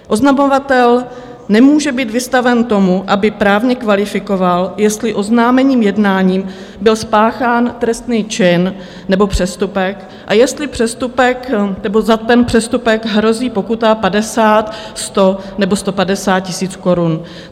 Oznamovatel nemůže být vystaven tomu, aby právně kvalifikoval, jestli oznámeným jednáním byl spáchán trestný čin nebo přestupek a jestli za ten přestupek hrozí pokuta 50, 100 nebo 150 tisíc korun.